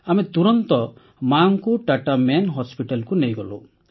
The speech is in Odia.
ଆମେ ତୁରନ୍ତ ମାଙ୍କୁ ଟାଟା ମେନ୍ Hospitalକୁ ନେଇଗଲୁ